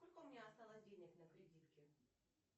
сколько у меня осталось денег на кредитке